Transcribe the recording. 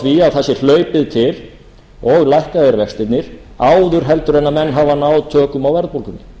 að það sé hlaupið til og lækkaðir vextirnir áður en menn hafa náð tökum á verðbólgunni